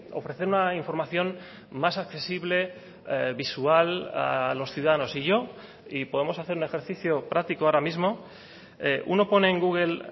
ofrecer una información más accesible visual a los ciudadanos y yo y podemos hacer un ejercicio práctico ahora mismo uno pone en google